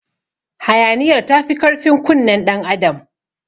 Hayaniyar tafi karfin kunnen ɗan adam.